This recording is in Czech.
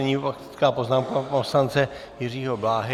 Nyní faktická poznámka pana poslance Jiřího Bláhy.